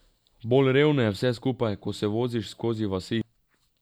Bolj revno je vse skupaj, ko se voziš skozi vasi.